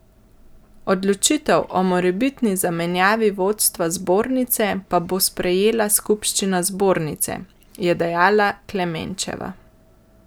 Odločitev o morebitni zamenjavi vodstva zbornice pa bo sprejela skupščina zbornice, je dejala Klemenčeva.